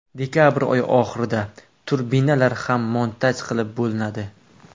Dekabr oyi oxirida turbinalar ham montaj qilib bo‘linadi.